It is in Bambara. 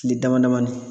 Kile dama damani